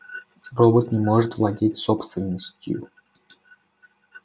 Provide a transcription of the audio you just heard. робот не может владеть собственностью